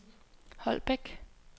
Holbæk